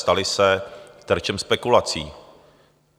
Staly se terčem spekulací.